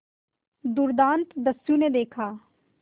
दुर्दांत दस्यु ने देखा